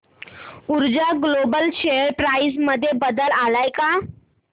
ऊर्जा global share price मध्ये बदल आलाय का